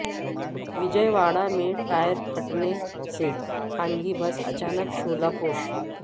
وجئے واڑہ میں ٹائر پھٹنے سے خانگی بس اچانک شعلہ پوش